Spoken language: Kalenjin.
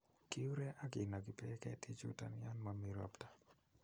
Kiure ak kinoki beek ketichuton yon momi ropta